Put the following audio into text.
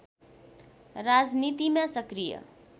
राजनीतिमा सक्रिय